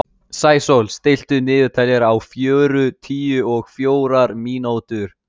Sæsól, stilltu niðurteljara á fjörutíu og fjórar mínútur.